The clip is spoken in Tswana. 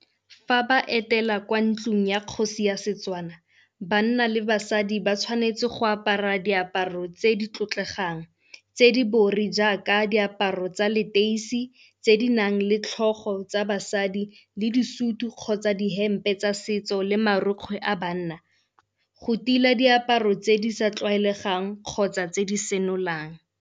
Fa ba etela kwa ntlung ya kgosi ya Setswana, banna le basadi ba tshwanetse go apara diaparo tse di tlotlegang tse di bori jaaka diaparo tsa leteisi tse di nang le tlhogo tsa basadi le disutu kgotsa dihempe tsa setso le marukgwe a banna. Go tila diaparo tse di sa tlwaelegang kgotsa tse di senolang.